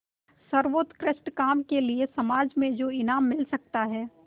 सर्वोत्कृष्ट काम के लिए समाज से जो इनाम मिल सकता है